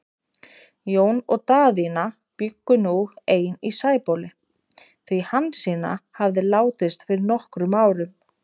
Jón og Daðína bjuggu nú ein í Sæbóli, því Hansína hafði látist fyrir nokkrum árum.